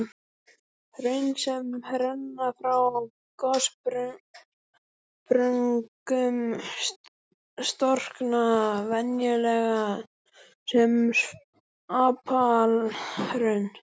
Hraun sem renna frá gossprungum storkna venjulega sem apalhraun.